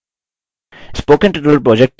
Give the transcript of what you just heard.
spoken tutorial project team